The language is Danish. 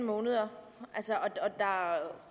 måneder